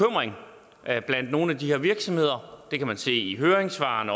at blandt nogle af de her virksomheder det kan man se i høringssvarene